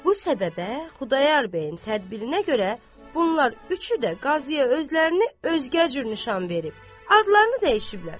Bu səbəbə Xudayar bəyin tədbirinə görə bunlar üçü də qaziyə özlərini özgə cür nişan verib, adlarını dəyişiblər.